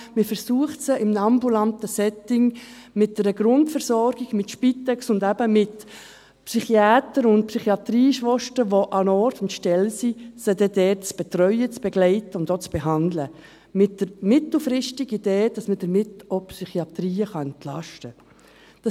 Man versucht sie in einem ambulanten Setting, mit einer Grundversorgung, mit Spitex und eben mit Psychiatern und Psychiatrieschwestern, welche an Ort und Stelle sind, zu betreuen, zu begleiten und auch zu behandeln, mit der mittelfristigen Idee, dass man damit die Psychiatrien entlasten kann.